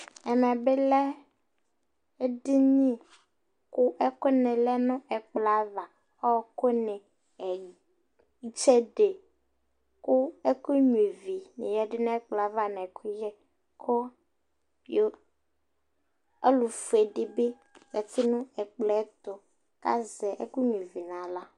Ɛmɛ bɩ lɛ eɖiniƘʋ ɛƙʋnɩ lɛ nʋ ɛƙplɔava, ɔɔƙʋnɩ, seɖe, ƙʋ ɛƙʋ nƴuaivi ƴǝdu nʋ ɛƙplɔaba nʋ ɛƙʋƴɛƆlʋƒue ɖɩ bɩ zati nʋ ɛƙplɔɛtʋ ta zɛ ɛƙʋƴɛ n'aɣla